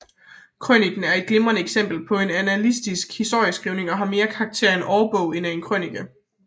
Krøniken er et glimrende eksempel på annalistisk historieskrivning og har mere karakter af en årbog end af en krønike